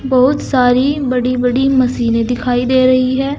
बहुत सारी बड़ी बड़ी मशीने दिखाई दे रही है।